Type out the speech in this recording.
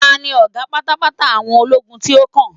ta ni oga patapata àwọn ologun ti o kan